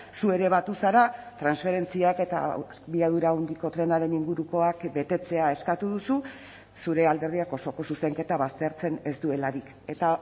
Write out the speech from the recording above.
zu ere batu zara transferentziak eta abiadura handiko trenaren ingurukoak betetzea eskatu duzu zure alderdiak osoko zuzenketa baztertzen ez duelarik eta